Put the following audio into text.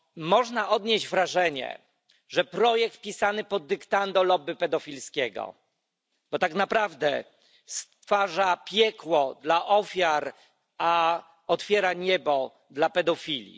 Można odnieść wrażenie, że to projekt pisany pod dyktando lobby pedofilskiego, bo tak naprawdę stwarza piekło dla ofiar, a otwiera niebo dla pedofili.